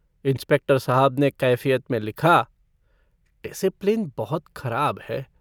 Inspector साहब ने कैफ़ियत में लिखा - डिसिप्लिन बहुत खराब है।